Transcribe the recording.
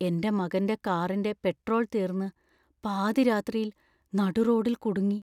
എന്‍റെ മകന്‍റെ കാറിന്‍റെ പെട്രോള്‍ തീർന്ന് പാതിരാത്രിയിൽ നടുറോഡിൽ കുടുങ്ങി.